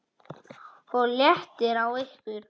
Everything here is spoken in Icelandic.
OG LÉTTIR Á YKKUR!